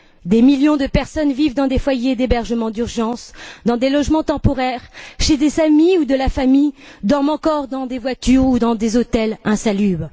Des millions de personnes vivent dans des foyers d'hébergement d'urgence, dans des logements temporaires, chez des amis ou de la famille, dorment encore dans des voitures ou dans des hôtels insalubres.